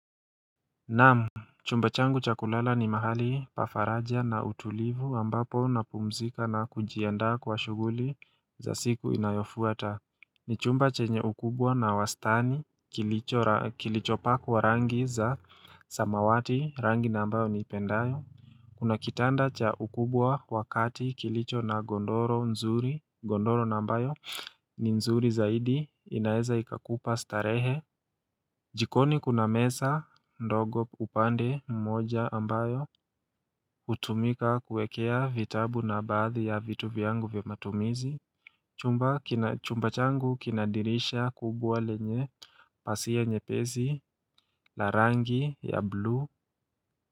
Naam chumba changu cha kulala ni mahali pa faraja na utulivu ambapo na pumzika na kunjiandaa kwa shughuli za siku inayofuata. Ni chumba chenye ukubwa na wastani kilicho pakwa rangi za samawati rangi na ambayo niipendayo. Kuna kitanda cha ukubwa wakati kilicho na godoro nzuri, godoro na ambayo ni nzuri zaidi inaeza ikakupa starehe. Jikoni kuna meza, ndogo upande mmoja ambayo, utumika kuwekea vitabu na baadhi ya vitu vyangu vya matumizi, chumba changu kina dirisha kubwa lenye, pasia nyepesi, la rangi ya blue.